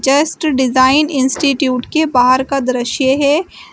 Just design institute के बाहर का दृश्य है।